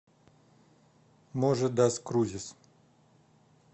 можи дас крузис